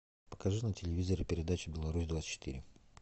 покажи на телевизоре передачу беларусь двадцать четыре